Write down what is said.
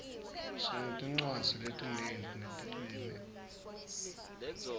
sinetincwadzi letinyenti netilwimi